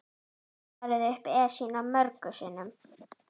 Ég hef farið upp Esjuna mörgum sinnum.